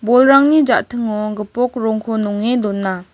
bolrangni ja·tingo gipok rongko nonge dona.